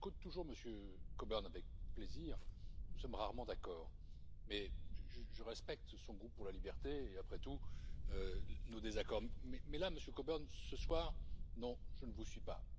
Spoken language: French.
J'écoute toujours M. Coburn avec plaisir. Nous sommes rarement d'accord, mais je respecte son goût pour la liberté et, après tout, nos désaccords. Mais là, Monsieur Coburn, ce soir, non je ne vous suis pas.